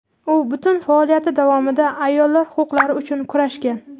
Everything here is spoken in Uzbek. U butun faoliyati davomida ayollar huquqlari uchun kurashgan.